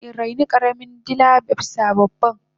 nafison in raini karamin dila abisa babban